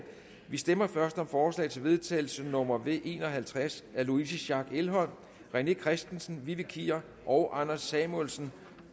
vi stemmer først om forslag til vedtagelse nummer v en og halvtreds af louise schack elholm rené christensen vivi kier og anders samuelsen